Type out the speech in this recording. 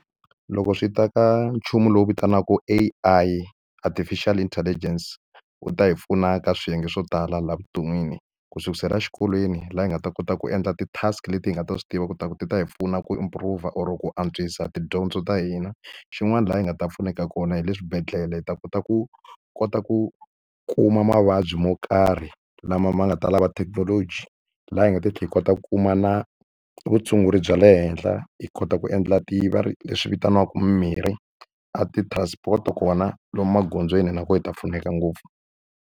Loko swi ta ka nchumu lowu vitaniwaka A_I, artificial intelligence ku ta hi pfuna ka swiyenge swo tala laha evuton'wini. Ku sukela exikolweni laha hi nga ta kota ku endla ti-task leti hi nga ta swi tiva leswaku ti ta hi pfuna ku improve-a, or ku antswisa tidyondzo ta hina. Xin'wana laha hi nga ta pfuneka kona hi le swibedhlele, hi ta kota ku kota ku kuma mavabyi mo karhi lama ma nga ta lava thekinoloji, laha hi nga ta tlhela yi kota ku kuma na vutshunguri bya le henhla. Hi kota ku endla ti va ri leswi vitaniwaka mimirhi. A ti-transport kona lomu magondzweni na kona hi ta pfuneka ngopfu.